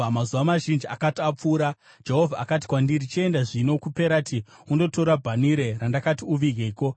Mazuva mazhinji akati apfuura Jehovha akati kwandiri, “Chienda zvino kuPerati undotora bhanhire randakati uvigeko.”